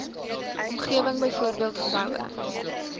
omgewing byvoorbeeld geboue